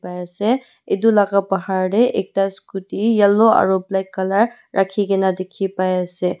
paiase etu laka bahar tey ekta scotty yellow aro black colour rakhe kena dekhe pai ase.